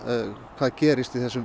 hvað gerist í þessum